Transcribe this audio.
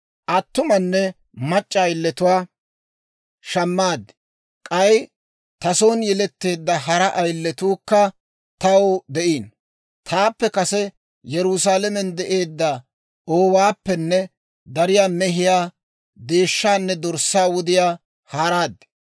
Attumanne mac'c'a ayiletuwaa shammaad; k'ay ta son yeletteedda hara ayiletuukka taw de'iino. Taappe kase Yerusaalamen de'eedda oowaappenne dariyaa mehiyaa, deeshshaanne dorssaa wudiyaa haaraad.